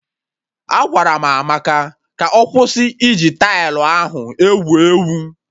Agwara m Amaka ka ọ kwụsị iji tailụ ahụ egwu egwu!